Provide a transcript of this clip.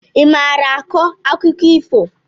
I maara akọ akụkọ ifo?